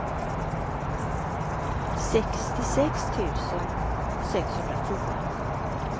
sextiosex tusen sexhundratio